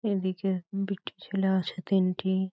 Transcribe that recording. এদিকে দুটি ছেলে আছে তিনটি--